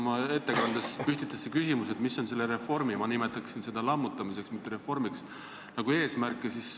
Oma ettekandes te püstitasite küsimuse, mis on selle reformi – ma nimetaksin seda lammutamiseks, mitte reformiks – eesmärk.